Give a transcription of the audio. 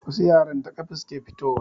Wasu yaran ta kafa suke fito wa.